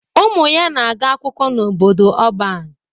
Ụmụ ya na-aga akwụkwọ n'obodo ọban